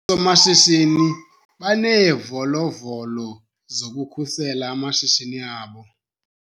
Oosomashishini baneevolovolo zokukhusela amashishini abo.